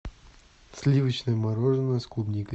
сливочное мороженое с клубникой